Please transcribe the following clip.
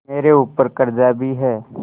मेरे ऊपर कर्जा भी है